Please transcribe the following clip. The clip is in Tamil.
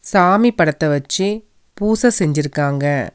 சாமி படத்த வச்சி பூச செஞ்சிருக்காங்க.